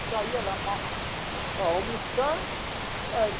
Só ia lá para ó almoçar aí.